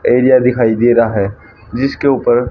area दिखाई दे रहा है जिसके ऊपर--